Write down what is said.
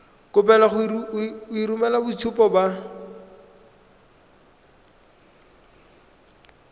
kopiwa go romela boitshupo ba